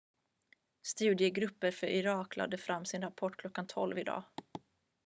studiegruppen för irak lade fram sin rapport kl.12.00 i dag